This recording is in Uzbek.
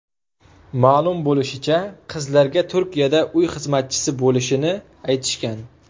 Ma’lum bo‘lishicha, qizlarga Turkiyada uy xizmatchisi bo‘lishini aytishgan.